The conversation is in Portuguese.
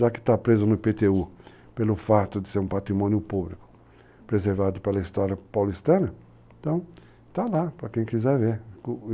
Já que está preso no IPTU pelo fato de ser um patrimônio público, preservado pela história paulistana, então está lá para quem quiser ver.